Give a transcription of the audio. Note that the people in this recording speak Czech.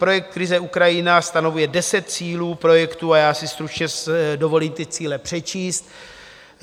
Projekt Krize Ukrajina stanovuje deset cílů projektu a já si stručně dovolím ty cíle přečíst: